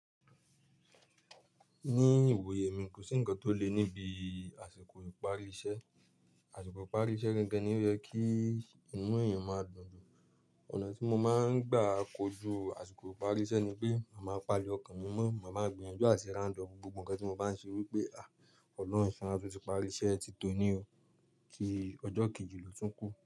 Ní ìwòye mi kò sí ǹkan tó le níbi àsìkò ìparí iṣẹ́. Àsìkò ìparí iṣẹ́ gangan ni ó jẹ́ kí inú èèyàn máa dùn jù. Ọ̀nà tí mo máa ń gbà kojú àsìkò ìparí iṣẹ́ ni pé màá pàálì ọkàn mi mọ́, màá ma gbìyànjú àti round up gbogbo ǹkan tí mo bá ń ṣe wípé "à! Ọlọ́run ṣáná, ó ti pari iṣẹ́ ti tòní o, kí ọjọ́ kì í ju lòtúnkù.